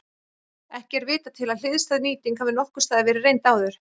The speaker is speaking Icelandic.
Ekki er vitað til að hliðstæð nýting hafi nokkurs staðar verið reynd áður.